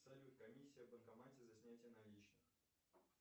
салют комиссия в банкомате за снятие наличных